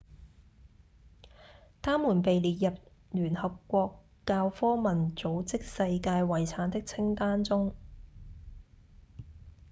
它們被列入聯合國教科文組織世界遺產的清單中